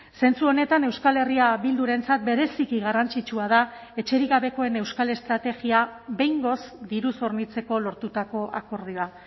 zentzu honetan euskal herria bildurentzat bereziki garrantzitsua da etxerik gabekoen euskal estrategia behingoz diruz hornitzeko lortutako akordioa